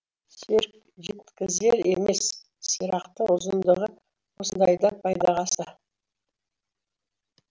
серік жеткізер емес сирақтың ұзындығы осындайда пайдаға асты